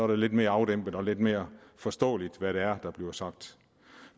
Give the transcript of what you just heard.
det lidt mere afdæmpet og lidt mere forståeligt hvad det er der bliver sagt